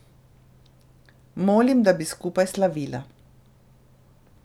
Molim, da bi skupaj slavila.